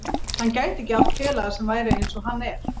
Hann gæti ekki átt félaga sem væri eins og hann er.